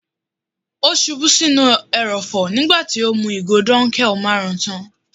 Ó ṣubú sí inú ẹrọ̀fọ̀ nígbà tí ó mú ìgò dunkel marun tán.